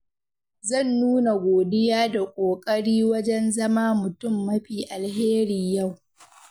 Zan nuna godiya da ƙoƙari wajen zama mutum mafi alheri yau.